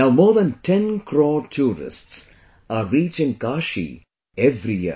Now more than 10 crore tourists are reaching Kashi every year